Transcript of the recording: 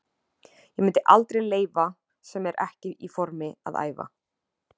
Ég myndi aldrei leyfa sem er ekki í formi að æfa.